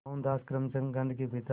मोहनदास करमचंद गांधी के पिता